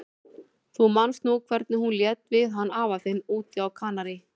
Þú manst nú hvernig hún lét við hann afa þinn úti á Kanarí.